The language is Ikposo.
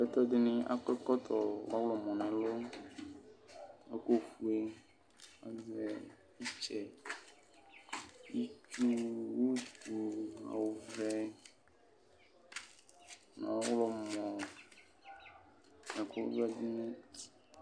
Ɛtʋdini akɔ ɛkɔtɔ ɔwlɔmɔ ɛkʋfue azɛ itsɛ itsu utu ɔvɛ nʋ ɔwlɔmɔ nʋ ɛkʋvɛ dini